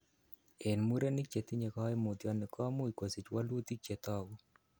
En murenikchetinye koimutioniton komuch kosich wolutik chetogu.